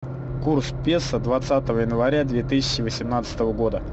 курс песо двадцатого января две тысячи восемнадцатого года